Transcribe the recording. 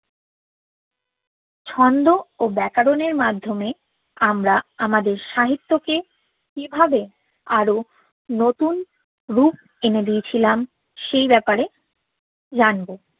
ছন্দ ও ব্যকারোন মাধ্যমে আমরা আমাদের সাহিত্যকে কিভাবে আরো নতুন রুপ এনে দিযে ছিলাম সেই ব্যাপারে জানব